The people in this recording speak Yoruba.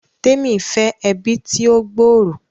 Temi fẹ ẹbi tí o gb'ọrọ